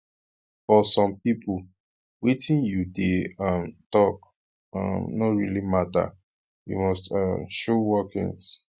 for some pipo wetin you dey um talk um no really matter you must um show workings